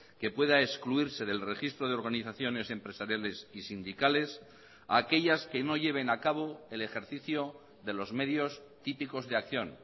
que pueda excluirse del registro de organizaciones empresariales y sindicales a aquellas que no lleven a cabo el ejercicio de los medios típicos de acción